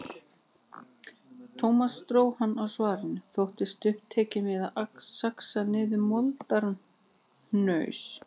Thomas dró hann á svarinu, þóttist upptekinn við að saxa niður moldarhnaus.